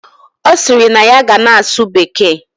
Osiri na ya ga na asu bekee